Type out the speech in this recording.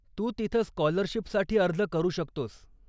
तू तिथं स्काॅलरशीपसाठी अर्ज करू शकतोस.